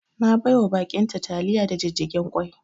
Na baiwa ba'in ta taliya da jijjigen kwai